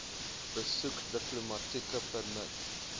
besoek diplomatieke permit